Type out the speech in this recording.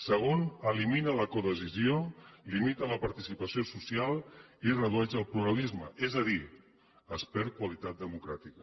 segon elimina la codecisió limita la participació social i redueix el pluralisme és a dir es perd qualitat democràtica